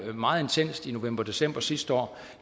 meget intenst i november december sidste år og